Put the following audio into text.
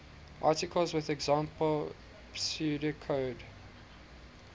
articles with example pseudocode